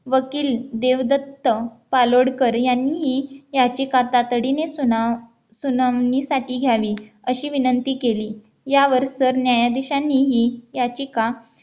वकील देवदत्त पालोडकर यांनी याचिकाता तातडीने सुना सुनावणीसाठी घ्यावी अशी विनंती केली यावर सरन्यायाधीशांनी ही याचिका